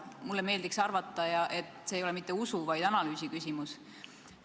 Mulle meeldiks teada, et see ei ole mitte usu-, vaid analüüsiküsimus.